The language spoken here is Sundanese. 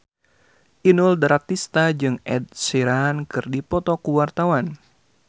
Inul Daratista jeung Ed Sheeran keur dipoto ku wartawan